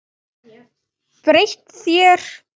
Breytt þér.